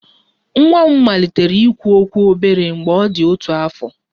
Nwa m malitere ikwu okwu obere mgbe ọ dị otu afọ